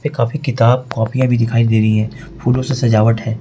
काफी किताब कॉपीया भी दिखाई दे रही है फूलों से सजावट है।